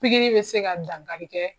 be se ka dankali kɛ